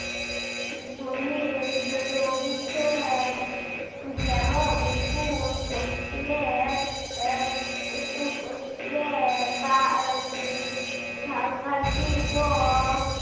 উহ যেমন উটুর পশ্চিমে আহ উত্তুম-পশ্চিমে বা সাংঘাতিক ও